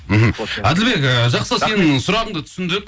мхм әділбек ыыы жақсы сенің сұрағыңды түсіндік